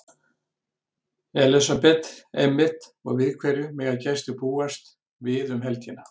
Elísabet: Einmitt og við hverju mega gestir búast við um helgina?